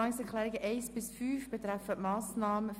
Die Ziffern 1 bis 5 betreffen die Massnahme 44.3.7.